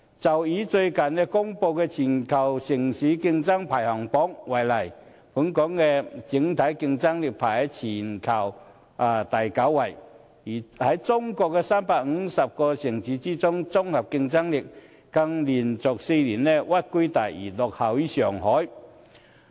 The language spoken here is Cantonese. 就以最近公布的全球城市競爭力排行榜為例，本港的整體競爭力在全球排名第九，在中國358個城市中的綜合競爭力，更連續4年屈居第二，落後於上海。